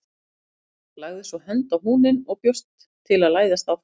Lagði svo hönd á húninn og bjóst til að læðast fram.